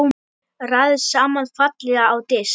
Raðið saman fallega á disk.